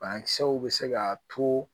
Banakisɛw bɛ se ka to